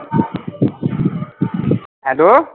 Hello